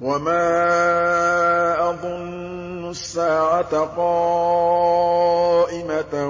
وَمَا أَظُنُّ السَّاعَةَ قَائِمَةً